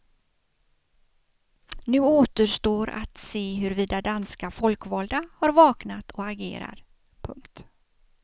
Nu återstår att se huruvida danska folkvalda har vaknat och agerar. punkt